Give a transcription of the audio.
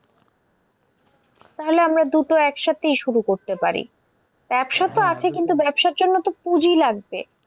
তাহলে আমরা দুটো একসাথেই শুরু করতে পারি। কিন্তু বতাবসার জন্য তো পুঁজি লাগবে।